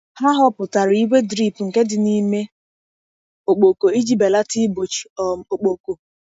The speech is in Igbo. Ha họpụtara igwe drip nke dị n’ime ọkpọkọ iji belata igbochi um ọkpọkọ.